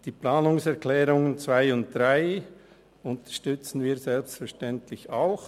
Die Planungserklärungen 2 und 3 unterstützen wir selbstverständlich auch.